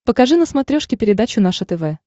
покажи на смотрешке передачу наше тв